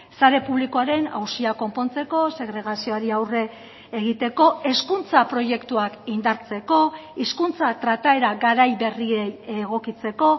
sare publikoaren auziak konpontzeko segregazioari aurre egiteko hezkuntza proiektuak indartzeko hizkuntza trataera garai berriei egokitzeko